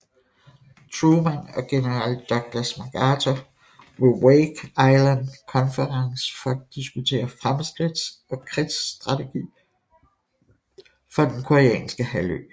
Truman og general Douglas MacArthur ved Wake Island Conference for at diskutere fremskridt og krigsstrategi for den koreanske halvø